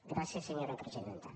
gràcies senyora presidenta